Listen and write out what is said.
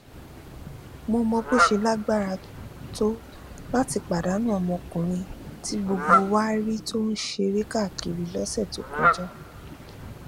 mo mọ bó ṣe lágbára tó láti pàdánù ọmọkùnrin tí gbogbo wa rí tó ń ṣeré káàkiri lọsẹ tó kọjá